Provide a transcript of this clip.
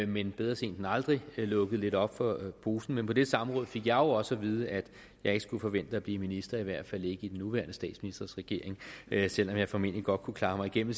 men bedre sent end aldrig lukkede lidt op for posen men på det samråd fik jeg jo også at vide at jeg ikke skulle forvente at blive minister i hvert fald ikke i den nuværende statsministers regering selv om jeg formentlig godt kunne klare mig igennem